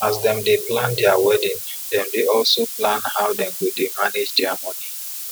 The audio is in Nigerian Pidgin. as dem dey plan dia wedding dem dey also plan how dem go dey manage dia moni